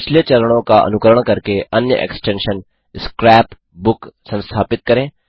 पिछले चरणों का अनुकरण करके अन्य एक्सटेंशन स्क्रैप बुक संस्थापित करें